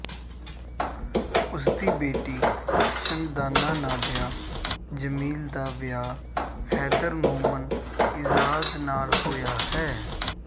ਉਸਦੀ ਬੇਟੀ ਸ਼ਨਦਾਨਾ ਨਾਦਿਆ ਜਮੀਲ ਦਾ ਵਿਆਹ ਹੈਦਰ ਨੋਮਨ ਏਜਾਜ਼ ਨਾਲ ਹੋਇਆ ਹੈ